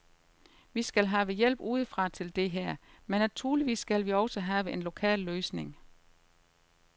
Vi skal have hjælp udefra til det her, men naturligvis skal vi også have en lokal løsning.